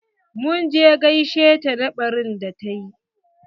Mun je gaishe ta na ɓarin da ta yi.